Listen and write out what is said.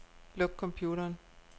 Luk computeren.